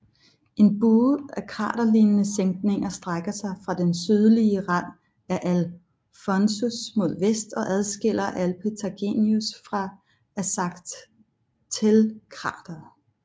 En bue af kraterlignende sænkninger strækker sig fra den sydlige rand af Alphonsus mod vest og adskiller Alpetagnius fra Arzachelkrateret